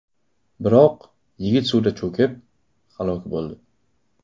Biroq yigit suvda cho‘kib, halok bo‘ldi.